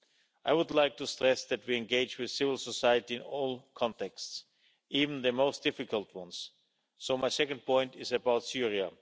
I would like to stress that we engage with civil society in all contexts, even the most difficult ones, so my second point is about Syria.